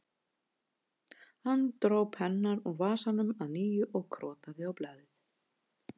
Hann dró pennann úr vasanum að nýju og krotaði á blaðið